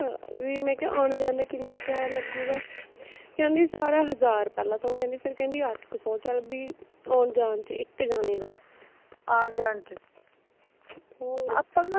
ਵੀ ਮੈਂ ਕਿਹਾ ਆਉਣ ਜਾਣ ਦਾ ਕਿੰਨਾ ਕਿਰਾਇਆ ਲੱਗੂਗਾ, ਕਹਿੰਦੀ ਸਾਰਾ ਹਜ਼ਾਰ ਪਹਿਲਾਂ ਤਾਂ ਓਹ ਕਹਿੰਦੀ ਫੇਰ ਕਹਿੰਦੀ ਅੱਠ ਕੁ ਸੋ ਚਲ ਵੀ ਆਉਣ ਜਾਣ ਚ ਇਕ ਜਣੇ ਦਾ ਹੋਰ